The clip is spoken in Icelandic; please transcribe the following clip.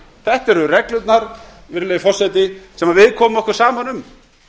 þetta eru reglurnar virðulegi forseti sem við komum okkur saman um